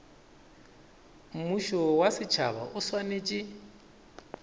mmušo wa setšhaba o swanetše